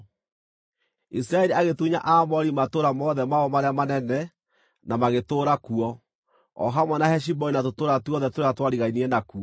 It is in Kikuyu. Isiraeli agĩtunya Aamori matũũra mothe mao marĩa manene na magĩtũũra kuo, o hamwe na Heshiboni na tũtũũra tuothe tũrĩa twarigainie nakuo.